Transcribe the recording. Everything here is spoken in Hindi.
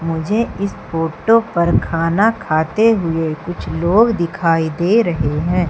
मुझे इस फोटो पर खाना खाते हुए कुछ लोग दिखाई दे रहे हैं।